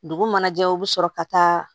Dugu mana jɛ u bɛ sɔrɔ ka taa